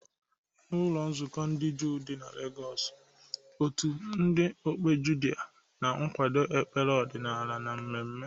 N'ụlọ nzukọ ndị Juu dị na Legọsụ, ndị otu okpuke Judha na-akwado ekpere ọdịnala na mmemme.